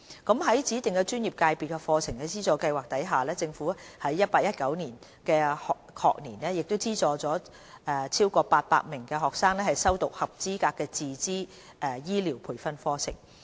在指定專業/界別課程資助計劃下，政府在 2018-2019 學年資助逾800名學生修讀合資格的自資醫療培訓課程。